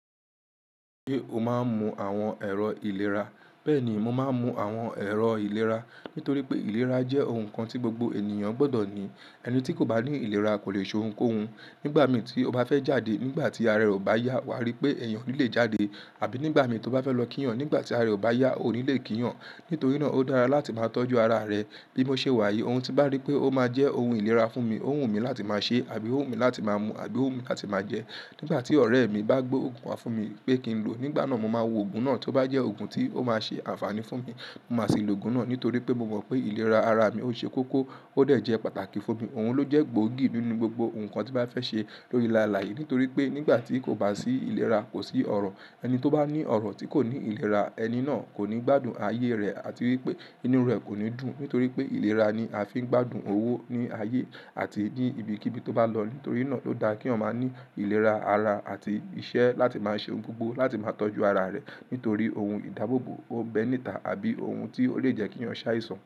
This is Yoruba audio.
Ṣé o máa ń mu àwọn ẹ̀rọ ìlera? Bẹ́ẹ̀ni, mo máa ń mu àwọn ẹ̀rọ ìlera nítorí pé ìlera jẹ́ oun kan tí gbogbo ènìyàn gbọ́dọ̀ ní. Ẹni tí kò bá ní ìlera kò lè ṣe oun kóhun. Nígbà mi tí ó bá fẹ́ jáde nígbà tí ara rẹ ò bá yá, wà á rí pé ẹ̀yàn ò ní le jáde àbí nígbà mi tí o bá fẹ́ lọ kíyàn nígbà tí ara rẹ ò bá yá, o ní le kíyàn. Nítorí náà ó dára láti máa tọ́jú ara rẹ. Bí mo ṣe wà yé oun tí bá rí pé ó máa jẹ́ oun ìlera fún mi, ó wù mí láti máa ṣe á bí ó wù mí láti máa mu á bí ó wù mí láti máa jẹ ẹ́. Nígbà tí ọ̀rẹ́ mi bá gbé òògùn wá fún mi pé kí n lo, nígbà náà mo máa wo òògùn náà tí ó bá jẹ́ òògùn tí ó máa ṣe àǹfààní fún mi, mo máa ṣe lò òògùn náà. Nítorí pé mo mọ̀ pé ìlera ara mi ó ṣe kókó ó dẹ̀ jẹ́ pàtàkì fún mi. Òun ló jẹ́ gbòógì nínú gbogbo oun kan tí bá fẹ́ ṣe lórí làálàá yìí. Nítorí pé nígbà tí kò bá sí ìlera, kò sí ọ̀rọ̀. Ẹni tí ó bá ní ọ̀rọ̀ tí kò ní ìlera, ẹni náà kò ní gbádùn ayé rẹ̀ àti wípé inú rẹ̀ kò ní dùn. Nítorí pé ìlera ni a fi ń gbádùn owó ní ayé àti ní ibi kíbi tí ó bá lọ. Nítorí náà ló da kí ọmọ ní ìlera ara àti iṣẹ́ láti máa ṣe oun gbogbo láti máa tọ́jú ara rẹ̀. Nítorí oun ìdábòbò, òun bẹ nítà àbí ohun tí ó lè jẹ́ kí ènìyàn ṣáì sọnù.